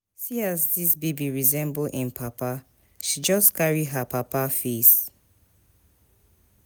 See as dis baby resemble im papa, she just carry her papa face.